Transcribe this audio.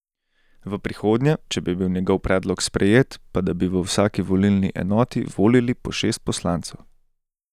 V prihodnje, če bi bil njegov predlog sprejet, pa da bi v vsaki volilni enoti volili po šest poslancev.